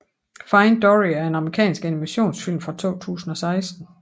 Find Dory er en amerikansk animationsfilm fra 2016